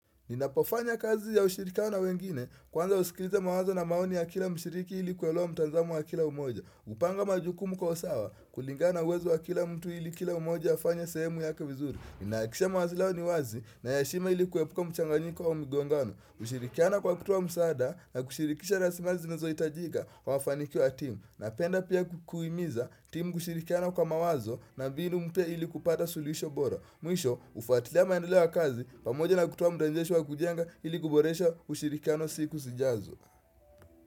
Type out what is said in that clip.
Ninapofanya kazi ya ushirikano na wengine kwanza usikiliza mawazo na maoni ya kila mshiriki ilikuelewa mtanzamo wa kila umoja. Upanga majukumu kwa usawa kulingana uwezo wa kila mtu ili kila umoja ya fanya sehemu yake vizuri. Ninakisha mawazi leo ni wazi na ya heshima ilikuwepuka mchanganyiko wa umigongano. Ushirikiana kwa kutoa msaada na kushirikisha rasimali na zinazoitajika kwa mafanikiwa timu. Na penda pia kukuwimiza timu ushirikiana kwa mawazo na mbinu mpya ili kupata sulisho bora. Mwisho ufatilia maendoleo ya kazi pamoja na kutoa mdanjeshwa kujenga ili kuboresha ushirikiano siku sijazo.